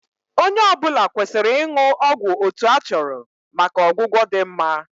Onye ọ bụla kwesịrị ịṅụ ọgwụ otu a chọrọ maka ọgwụgwọ dị mma